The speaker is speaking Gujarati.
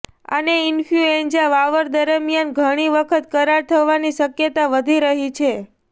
અને ઈન્ફલ્યુએન્ઝા વાવર દરમિયાન ઘણી વખત કરાર થવાની શક્યતા વધી રહી છે